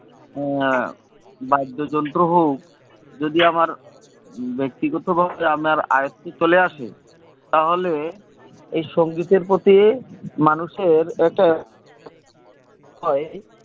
বাদ্যযন্ত্র হোক যদি আমার ব্যাক্তিগত ভাবে আমার আয়ত্তে চলে আসে তাহলে এই সঙ্গীতের প্রতি মানুষের একটা হয়